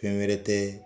Fɛn wɛrɛ tɛ